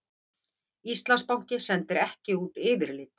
Íslandsbanki sendir ekki út yfirlit